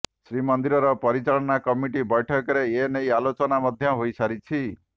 ଶ୍ରୀମନ୍ଦିର ପରିଚାଳନା କମିଟି ବୈଠକରେ ଏ ନେଇ ଆଲୋଚନା ମଧ୍ୟ ହୋଇସାରିଛି